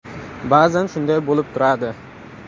Ba’zan shunday bo‘lib turadi.